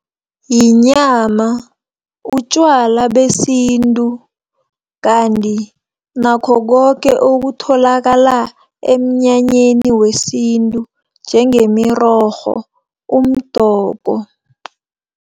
Yinyama, utjwala besintu, kanti nakho koke okutholakala emnyanyeni wesintu, njengemirorho, umdoko.